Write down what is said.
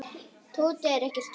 Tóti er ekkert feitur.